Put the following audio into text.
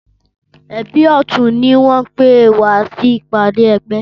Ẹbí ọtún ni wọn pè wá sí ìpàdé ẹgbẹ́